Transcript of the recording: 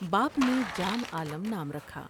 باپ نے جان عالم نام رکھا ۔